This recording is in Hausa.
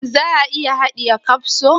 Shin za a iya haɗiye kapso?